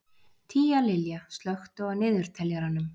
Tíalilja, slökktu á niðurteljaranum.